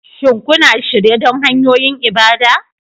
Shin kuna shirye don hanyoyin ibada?